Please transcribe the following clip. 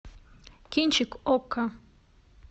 кинчик окко